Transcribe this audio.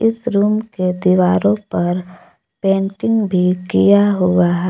इस रूम के दीवारों पर पेंटिंग भी किया हुआ है।